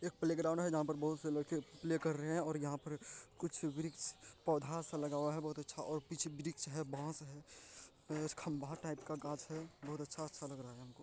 एक प्लेग्राउंड है जहां पे बोहोत से लड़के प्ले कर रहे है और यहाँ पर कुछ वृक्ष पौधा सा लगा हुआ है बहुत अच्छा पीछे वृक्ष है बास है खम्बा टाइप का गाछ है बहुत अच्छा-अच्छा लग रहा है हमको ----